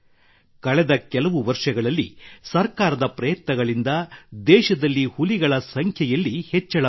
ಕಳೆದ ಕೆಲವು ವರ್ಷಗಳಲ್ಲಿ ಸರ್ಕಾರದ ಪ್ರಯತ್ನಗಳಿಂದ ದೇಶದಲ್ಲಿ ಹುಲಿಗಳ ಸಂಖ್ಯೆಯಲ್ಲಿ ಹೆಚ್ಚಳವಾಗಿದೆ